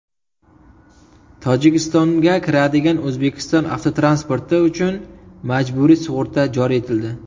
Tojikistonga kiradigan O‘zbekiston avtotransporti uchun majburiy sug‘urta joriy etildi.